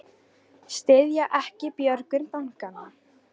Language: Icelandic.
Styðja ekki björgun bankanna